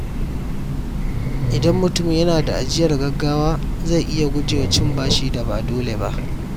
Idan mutum yana da ajiyar gaggawa, zai iya guje wa cin bashin da ba dole ba.